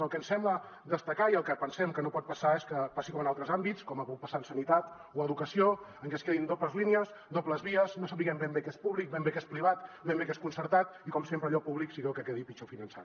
el que ens sembla que cal destacar i el que pensem que no pot passar és que passi com en altres àmbits com ha pogut passar en sanitat o educació que es creïn dobles línies dobles vies no sapiguem ben bé què és públic ben bé què és privat ben bé què és concertat i com sempre allò públic sigui el que quedi pitjor finançat